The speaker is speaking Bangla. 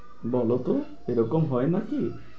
বলো তো এরকম হয় নাকি?